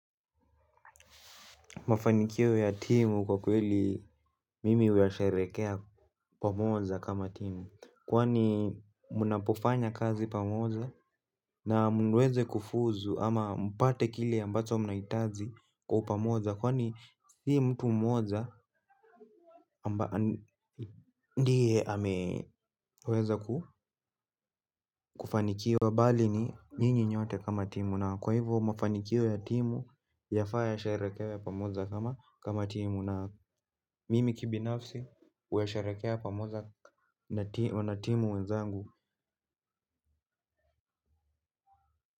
Mafanikio ya timu kwa kweli mimi huyasharehekea pamoja kama timu. Kwani mnapofanya kazi pamoja na muweze kufuzu ama mpate kile ambacho mnahitaji kwa upamoja. Kwani si mtu mmoja amba ndiye ameweza kufanikiwa bali ni nyinyi nyote kama timu na kwa hivyo mafanikio ya timu yafaa yasherehekewe pamoja kama timu. Na mimi kibinafsi huyasharehekea pamoja na timu wenzangu.